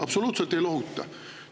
Absoluutselt ei lohuta!